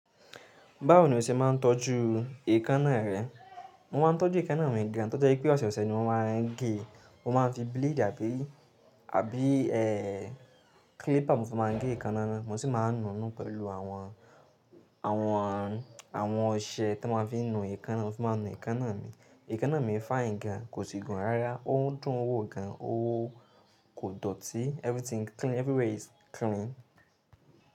Báwo ni o ṣe máa ń tọ́jú èékánná rẹ? Mo máa ń tọ́jú èékánná mi gan, to jẹ wi pé ọ̀sẹ̀ o sẹ̀ ni mo máa ń gé. Mo máa ń fi blade àbí, àbí ẹ́, clipper mo fi máa ń gé èékánná ná, mo sì máa ń nu nú pẹ̀lú àwọn, àwọn, àwọn ọṣẹ tọ máa ń fi nu èékánná, mo fi máa nu èkánáá mi. Èékánná mi fine gan, kò sì gùn rárá. Ó dùn ún wò gan, ó kò dọ̀tí. Everything clean, everywhere is clean.